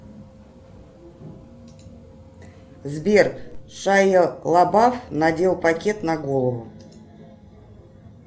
сбер шайа лабаф надел пакет на голову